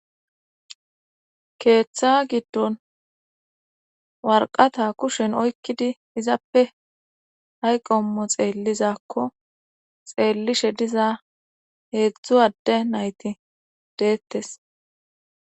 Keeththa giddon warqata kushen oykkidi izappe hayqommo xeellizakko xeellishe diza heedzdzu adde nayti deettes